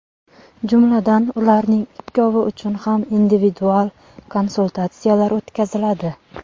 Jumladan, ularning ikkovi uchun ham individual konsultatsiyalar o‘tkaziladi.